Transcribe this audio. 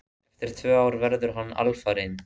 Eftir tvö ár verður hann alfarinn.